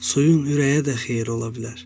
Suyun ürəyə də xeyri ola bilər.